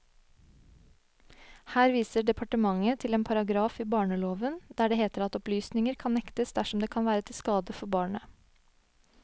Her viser departementet til en paragraf i barneloven, der det heter at opplysninger kan nektes dersom det kan være til skade for barnet.